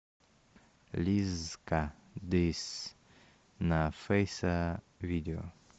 лиззка дисс на фейса видео